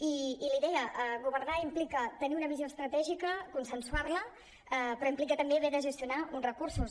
i l’hi deia governar implica tenir una visió estratègica consensuar·la però implica també haver de gestionar uns recursos